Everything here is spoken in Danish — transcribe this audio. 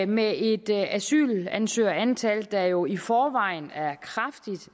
med et asylansøgerantal der jo i forvejen er kraftigt